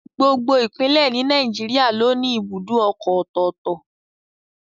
Gbogbo Ìpínlẹ̀ ni Nàìjíríà ló ní ibùdó ọkọ̀ ọ̀tọ̀ọ̀tọ̀